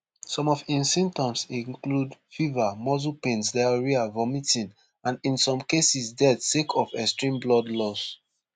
some of im symptoms include fever muscle pains diarrhoea vomiting and in some cases death sake of extreme blood loss